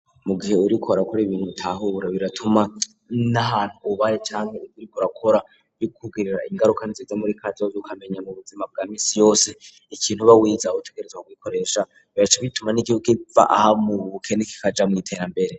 Mugihe uriko urakora ibintu bitahura biratuma n'ahantu ubaye canga buriko raora yogkugirira ingaruka niziza muri kazo yukamenya mu buzima bwa minsi yose ikintu ba wiza gutegerezwa kuikoresha biraca bituma n'igihugu iva aha mu bukene kikaja mwiterambere.